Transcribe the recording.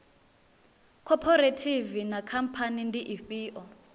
khophorethivi na khamphani ndi ifhio